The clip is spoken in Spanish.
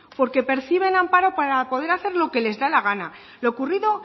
porque perciben amparo para poder hacer lo que les da la gana lo ocurrido